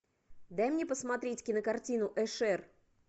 дай мне посмотреть кинокартину эшер